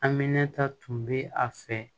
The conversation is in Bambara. Aminɛ ta tun bɛ a fɛ